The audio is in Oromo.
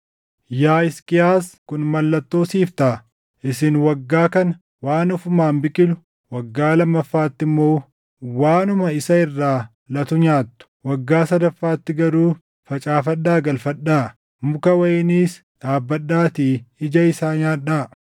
“Yaa Hisqiyaas kun mallattoo siif taʼa: “Isin waggaa kana waan ofumaan biqilu, waggaa lammaffaatti immoo waanuma isa irraa latu nyaattu. Waggaa sadaffaatti garuu facaafadhaa galfadhaa; muka wayiniis dhaabbadhaatii ija isaa nyaadhaa.